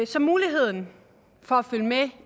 så muligheden for at følge med